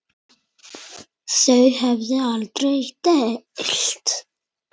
Þau höfðu aldrei deilt.